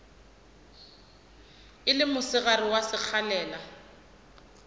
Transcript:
e le mosegare wa sekgalela